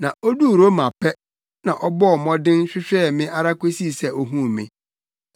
na oduu Roma pɛ, na ɔbɔɔ mmɔden hwehwɛɛ me ara kosii sɛ ohuu me.